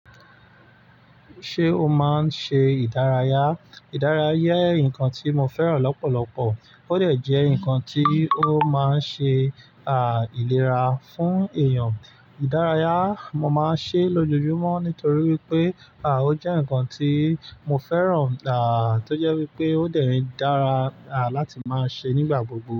Ṣé o máa ń ṣe ìdárayá? Ìdárayá jẹ́ nǹkan tí mo fẹ́ràn lọ́pọ̀lọ́pọ̀, ó dẹ̀ jẹ́ nǹkan tí ó máa ń ṣe à ìlera fún èèyàn. Ìdárayá, mo máa ń ṣe é lójoojúmọ́ nítorí wípé à ó jẹ́ nǹkan tí mo fẹ́ràn à tó jẹ́ wípé ó dẹ̀ rí dára à láti máa ṣe é nígbà gbogbo.